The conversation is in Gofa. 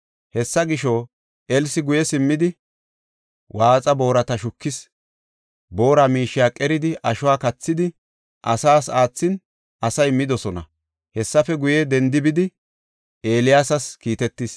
Hessa gisho, Elsi guye simmidi waatha boorata shukis; boora miishiya qeridi ashuwa kathidi, asaas aathin asay midosona. Hessafe guye, dendi bidi, Eeliyaasas kiitetis.